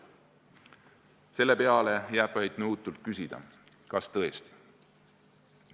" Selle peale jääb vaid nõutult küsida: kas tõesti?